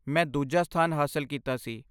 ਮੈਂ ਦੂਜਾ ਸਥਾਨ ਹਾਸਲ ਕੀਤਾ ਸੀ